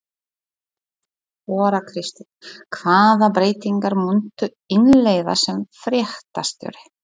Þóra Kristín: Hvaða breytingar muntu innleiða sem fréttastjóri?